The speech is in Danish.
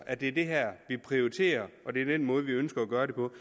at det er det her vi prioriterer og at det er den måde vi ønsker at gøre